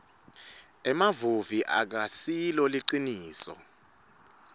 emamuvi akasilo liciniso